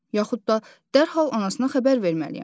Yaxud da dərhal anasına xəbər verməliyəm.